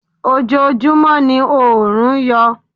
Ojojúmọ́ ni oòrùn yọ.